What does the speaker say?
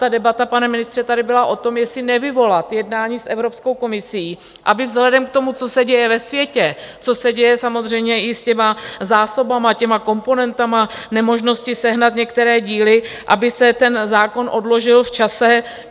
Ta debata, pane ministře, tady byla o tom, jestli nevyvolat jednání s Evropskou komisí, aby vzhledem k tomu, co se děje ve světě, co se děje samozřejmě i s těmi zásobami, těmi komponenty, nemožností sehnat některé díly, aby se ten zákon odložil v čase.